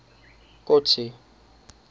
kotsi